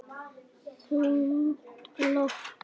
Þungt loft.